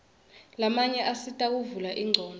lamanye asita kuvula ingcondvo